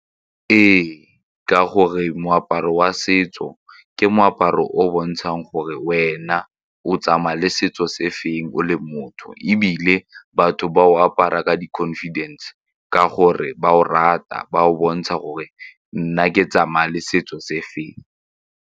Ee, ka gore moaparo wa setso ke moaparo o o bontshang gore wena o tsamaya le setso se feng o le motho ebile batho ba o apara ka di-confidence ka gore ba o rata ba o bontsha gore nna ke tsamaya le setso se feng.